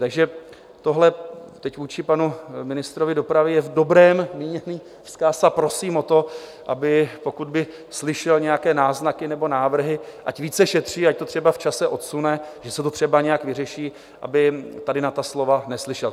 Takže tohle teď vůči panu ministrovi dopravy je v dobrém míněný vzkaz a prosím o to, aby - pokud by slyšel nějaké náznaky nebo návrhy, ať více šetří, ať to třeba v čase odsune, že se to třeba nějak vyřeší - aby tady na ta slova neslyšel.